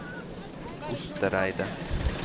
Ostereidet